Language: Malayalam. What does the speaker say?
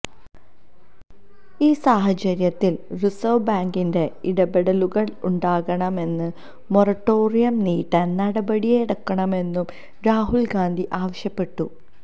ഈ സാഹചര്യത്തിൽ റിസർവ് ബാങ്കിന്റെ ഇടപെടലുണ്ടാകണമെന്നും മൊറട്ടോറിയം നീ്ട്ടാൻ നടപടിയെടുക്കണമെന്നും രാഹുൽ ഗാന്ധി ആവശ്യപ്പെട്ടു